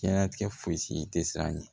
Diɲɛnatigɛ fosi tɛ siran ɲɛ